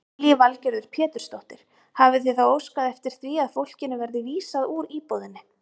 Lillý Valgerður Pétursdóttir: Hafið þið þá óskað eftir því að fólkinu verði vísað úr íbúðinni?